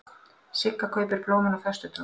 Sigga kaupir blómin á föstudögum.